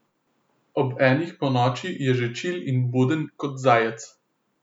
Ob enih ponoči je že čil in buden kot zajec.